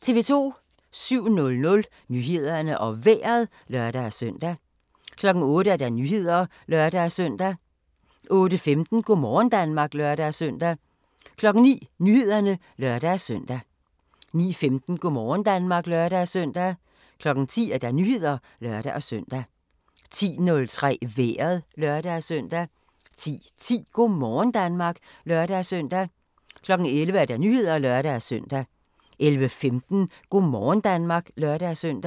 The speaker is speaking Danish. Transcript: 07:00: Nyhederne og Vejret (lør-søn) 08:00: Nyhederne (lør-søn) 08:15: Go' morgen Danmark (lør-søn) 09:00: Nyhederne (lør-søn) 09:15: Go' morgen Danmark (lør-søn) 10:00: Nyhederne (lør-søn) 10:03: Vejret (lør-søn) 10:10: Go' morgen Danmark (lør-søn) 11:00: Nyhederne (lør-søn) 11:15: Go' morgen Danmark (lør-søn)